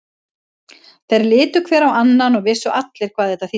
Þeir litu hver á annan og vissu allir hvað þetta þýddi.